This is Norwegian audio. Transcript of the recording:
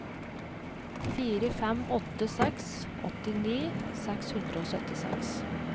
fire fem åtte seks åttini seks hundre og syttiseks